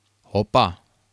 Opa.